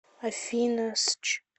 афина сч